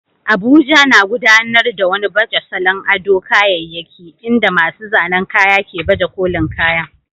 Abuja, na gudanar da wani baje salon ado kayyayaki inda masu zanen kaya ke baje kolin kayan